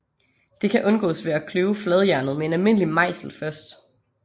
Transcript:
Det kan undgås ved at kløve fladjernet med en almindelig mejsel først